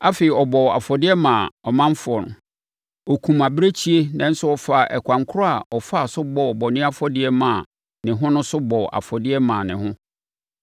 Afei, ɔbɔɔ afɔdeɛ maa ɔmanfoɔ. Ɔkumm abirekyie nanso ɔfaa ɛkwan korɔ a ɔfaa so bɔɔ bɔne afɔdeɛ maa ne ho no so bɔɔ afɔdeɛ maa ne ho.